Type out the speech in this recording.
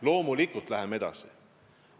Loomulikult läheme edasi!